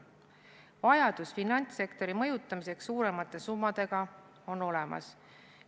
Vajadus finantssektori mõjutamiseks suuremate summadega on olemas.